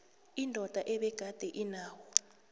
indoda ebegade inawo